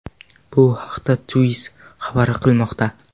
Bu haqda Twizz xabar qilmoqda .